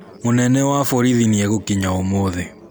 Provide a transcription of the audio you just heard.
Mũnene wa borithi nĩegũkinya ũmũthĩ.